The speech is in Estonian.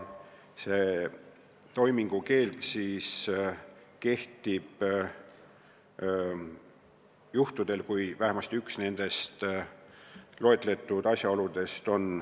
See toimingukeeld kehtib juhtudel, kui tegu on vähemasti ühega loetletud asjaoludest.